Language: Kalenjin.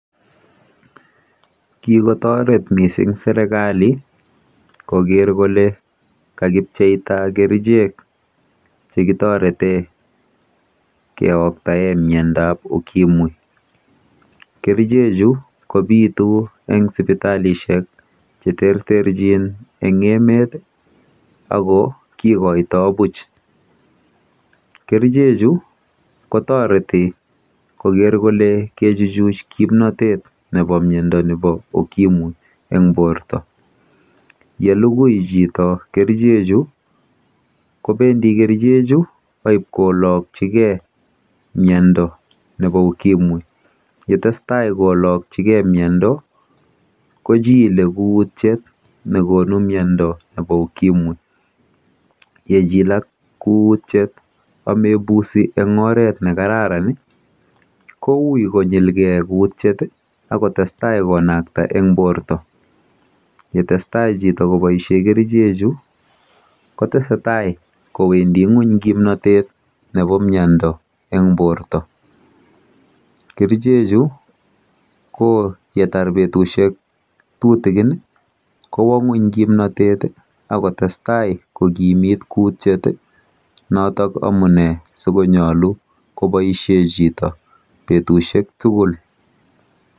Ki kotoret mising serkali kocheptai kerichek Che kitoreten ke oktaen miandap ukimwi kerichechu kobitunatin en sipatali cheterjin eng emet ago kigotoi buch kerichechu kotoreti koger kole kaichuch kimnatet nebo miondo nebo ukimwi en borto ye lugui chito kerchechu kobendi kerchechu kolokchigei miondo nebo ukimwi yetesetai kolokchigei miondo kochilei kutyet neireu miondo nebo ukimwi yechilak kutyet amebusi en oret nekararan ii kou konyilgei kutyyet ak kotestai konakta en borto ye teseta chito koboisien kerchechu kotesetai. Kowendi ngwony kimnatet nebo miando en borto kerchechu yetar betusio tutugin kotestai kokimit kutyet noton amune si konyolu koboisien chito kerichek betusiek